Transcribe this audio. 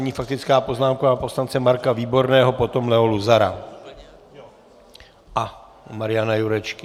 Nyní faktická poznámka pana poslance Marka Výborného, potom Leo Luzara a Mariana Jurečky.